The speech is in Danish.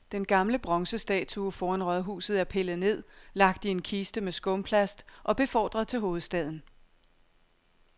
Den gamle bronzestatue foran rådhuset er pillet ned, lagt i en kiste med skumplast og befordret til hovedstaden.